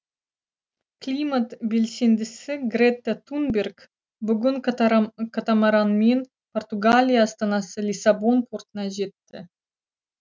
климат белсендісі грета тунберг бүгін катамаранмен португалия астанасы лиссабон портына жетті